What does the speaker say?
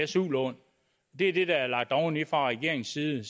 su lån det er det der er blevet lagt oveni fra regeringens side